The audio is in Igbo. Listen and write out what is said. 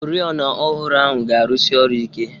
Oriọna ọhụrụ ahụ ga-arụsi ọrụ ike.